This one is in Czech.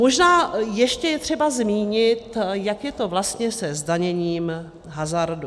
Možná ještě je třeba zmínit, jak je to vlastně se zdaněním hazardu.